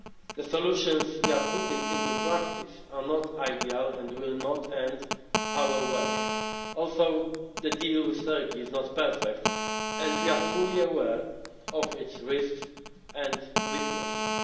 The solutions we are putting into practice are not ideal and will not end our work. Also, the deal with Turkey is not perfect and we are fully aware of its risks and weaknesses.